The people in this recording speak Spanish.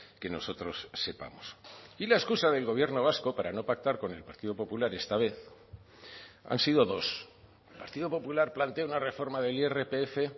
que nosotros sepamos y la excusa del gobierno vasco para no pactar con el partido popular esta vez han sido dos el partido popular plantea una reforma del irpf